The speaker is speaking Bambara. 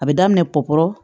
A bɛ daminɛ kɔkɔ